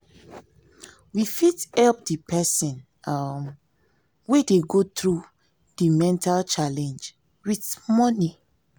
we fit help d person um wey dey go through di mental challenege with money